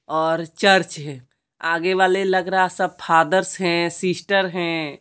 और चर्च है आगे वाले लग रहा सब फादर्स हैं सिस्टर है।